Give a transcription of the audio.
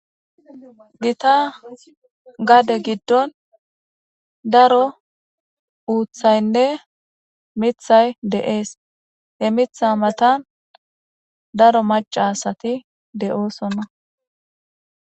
Gita gade gidon daro uthaynne mithay de'es he mitha matan daro maca asay de'osona